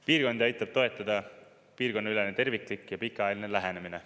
Piirkondi aitab toetada piirkonnaülene terviklik ja pikaajaline lähenemine.